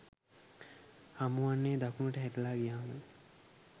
හමුවන්නේ දකුණට හැරිලා ගියාමයි.